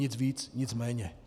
Nic víc, nic méně.